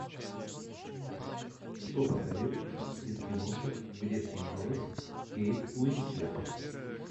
что посоветуешь из киношек где снималась кейт уинслет